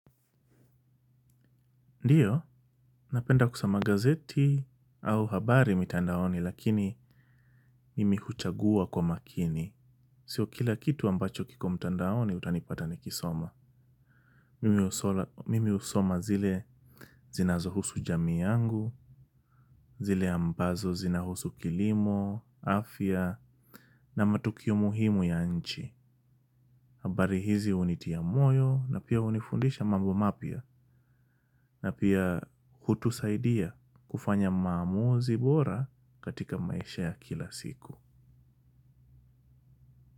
Ndiyo, napenda kusoma gazeti au habari mitandaoni lakini mimi huchagua kwa makini. Sio kila kitu ambacho kiko mitandaoni utanipata nikisoma. Mimi usoma zile zinazo husu jamii yangu, zile ambazo zinahusu kilimo, afya, na matukio muhimu ya nchi. Habari hizi unitia moyo na pia unifundisha mambo mapia na pia hutusaidia kufanya maamuzi bora katika maisha ya kila siku.